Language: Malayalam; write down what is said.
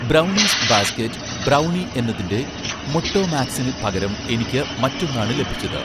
ബ്രൗണീസ് ബാസ്കറ്റ് ബ്രൗണി' എന്നതിന്‍റെ മൊട്ടോമാക്സിനു പകരം എനിക്ക് മറ്റൊന്നാണ് ലഭിച്ചത്